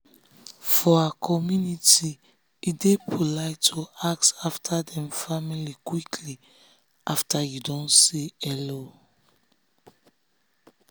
for her communitye dey polite to ask after dem family quickly after you don say hello.